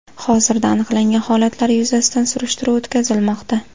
Hozirda aniqlangan holatlar yuzasidan surishtiruv o‘tkazilmoqda.